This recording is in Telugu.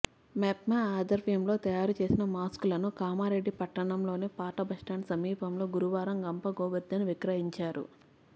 మెప్మా ఆధ్వర్యంలో తయారు చేసిన మాస్కూలను కామారెడ్డి పట్టణంలోని పాతబస్టాండ్ సమీపంలో గురువారం గంప గోవర్ధన్ విక్రయించారు